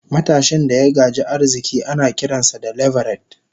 matashin daya gaji arziki anakiransa da "leveret"